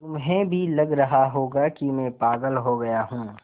तुम्हें भी लग रहा होगा कि मैं पागल हो गया हूँ